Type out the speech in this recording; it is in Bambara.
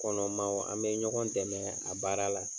Kɔnɔma an be ɲɔgɔn dɛmɛ a baara la.